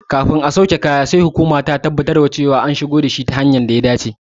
Kafin a sauke kaya sai hukuma ta tabbatar da kayan sun shigo ta hanyar data dace.